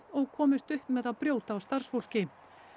og komist upp með að brjóta á starfsfólki